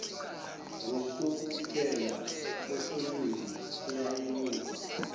ngukuphela kwefilimu eyayibukwa